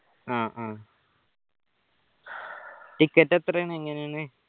ആ ആ ticket എത്രയാണ് എങ്ങനെയാണ്